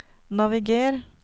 naviger